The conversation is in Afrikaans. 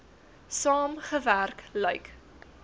saam gewerk lyk